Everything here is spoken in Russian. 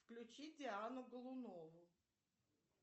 включи диану голунову